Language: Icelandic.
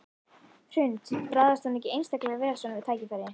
Hrund: Bragðast hún ekki einstaklega vel svona við þetta tækifæri?